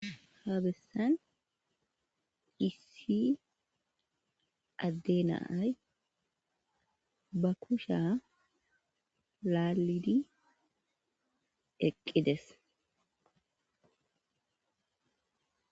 ha bessan isi adde na'ay ba kusha laalidi eqqides